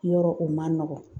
Yɔrɔ o man nɔgɔn.